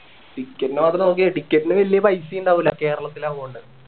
ticket ൻ്റെ മാത്രം നോക്കിയാ മതി ticket ന് വല്യ പൈസ ഇണ്ടാവുല്ല കേരളത്തിൽ ആവുന്നോണ്ട്